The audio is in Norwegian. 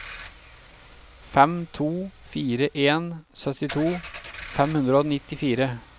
fem to fire en syttito fem hundre og nittifire